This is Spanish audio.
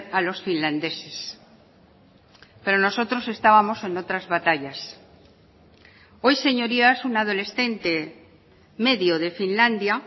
a los finlandeses pero nosotros estábamos en otras batallas hoy señorías un adolescente medio de finlandia